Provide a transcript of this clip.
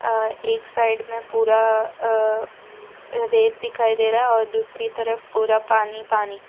अ एक साइड में पूरा अ रेत दिखाई दे रहा है और दूसरी तरफ पूरा पानी पानी।